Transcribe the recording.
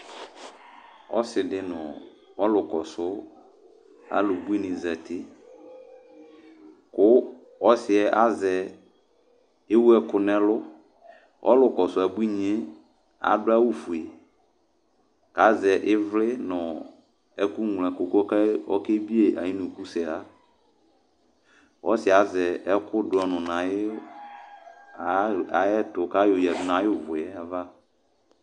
Ɔsɩ dɩ nʋ ɔlʋkɔsʋ abuinɩ zati kʋ ɔsɩ yɛ azɛ, ewu ɛkʋ nʋ ɛlʋ Ɔlʋkɔsʋ abuinɩ yɛ adʋ awʋfue kʋ azɛ ɩvlɩ nʋ ɛkʋŋloɛkʋ kʋ ɔkebie yɩ ayʋ unukusɛɣa Ɔsɩ yɛ azɛ ɛkʋdʋ ɔnʋ nʋ ayʋ aɣ ayɛtʋ kʋ ayɔyǝdu nʋ ayʋ ʋvʋ yɛ ava